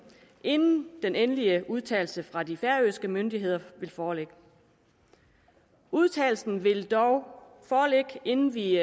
inden den endelige udtalelse fra de færøske myndigheder vil foreligge udtalelsen vil dog foreligge inden vi